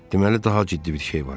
Deməli daha ciddi bir şey var.